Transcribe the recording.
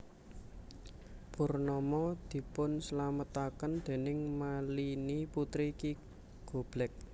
Purnama dipunselamataken déning Malini puteri Ki Goblek